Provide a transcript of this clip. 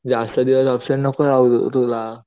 जास्त दिवस अबसेन्ट नको राहू तूला